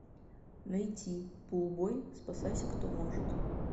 найти пулбой спасайся кто может